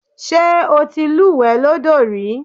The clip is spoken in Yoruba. Ṣé o ti lúùwẹ́ lọ́dọ̀ rí?